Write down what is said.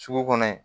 Sugu kɔnɔ yen